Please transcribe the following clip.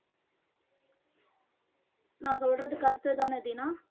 நான் சொல்றது correct தானே தீனா